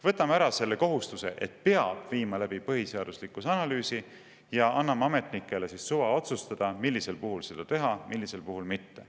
Võtame ära kohustuse, et peab viima läbi põhiseaduslikkuse analüüsi, ja anname ametnikele suva otsustada, millisel puhul seda teha, millisel puhul mitte.